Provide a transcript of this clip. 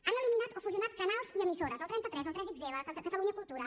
han eliminat o fusionat canals i emissores el trenta tres el 3xl catalunya cultura